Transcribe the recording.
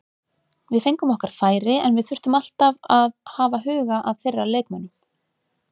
Við fengum okkar færi en við þurftum alltaf að hafa huga að þeirra leikmönnum.